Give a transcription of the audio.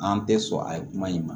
An tɛ sɔn a ye kuma in ma